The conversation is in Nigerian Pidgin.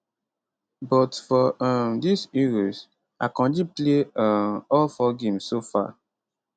but for um dis euros akanji play um all 4 games so far